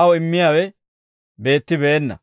aw immiyaawe beettibeenna.